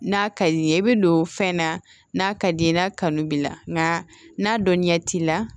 N'a ka di i ye i bɛ don fɛn na n'a ka d'i ye n'a kanu b'i la nka n'a dɔnni ɲɛ t'i la